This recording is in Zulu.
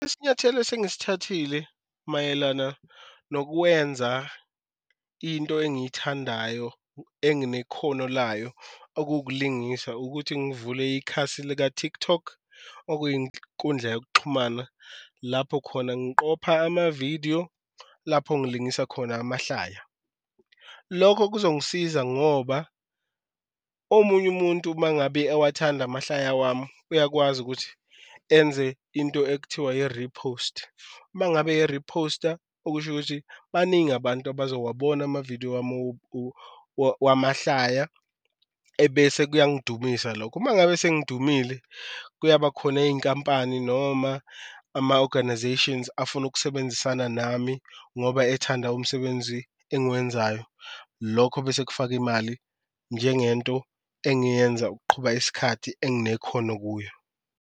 Isinyathelo esengisithathile mayelana nokwenza into engiyithandayo enginekhono layo okuwukulingisa ukuthi ngivule ikhasi lika-TikTok, okuyinkundla yokuxhumana lapho khona ngiqopha amavidiyo, lapho ngilingisa khona amahlaya. Lokho kuzongisiza ngoba omunye umuntu uma ngabe ewathanda amahlaya wami uyakwazi ukuthi enze into ekuthiwa yi-repost, uma ngabe e-riphosta okusho ukuthi baningi abantu abazowabona amavidiyo wami wamahlaya ebese kuyangidumisa lokho. Uma ngabe sengidumile kuyaba khona iyinkampani noma ama-organisations afuna ukusebenzisana nami ngoba ethanda umsebenzi engiwenzayo, lokho bese kufaka imali njengento engiyenza ukuqhuba isikhathi enginekhono kuyo.